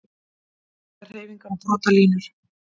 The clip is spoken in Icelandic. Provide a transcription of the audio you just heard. Brotahreyfingar og brotalínur